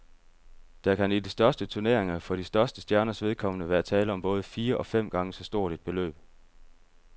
Der kan i de største turneringer for de største stjerners vedkommende være tale om både fire og fem gange så stort et beløb.